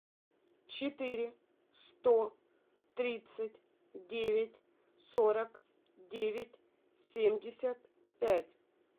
четыре сто тридцать девять сорок девять семьдесят пять